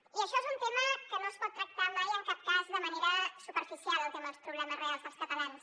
i això és un tema que no es pot tractar mai en cap cas de manera superficial el tema dels problemes reals dels catalans